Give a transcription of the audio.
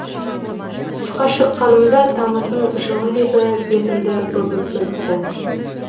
тысқа шыққанымда тамыздың жылы лебі бетімді өбіп өтті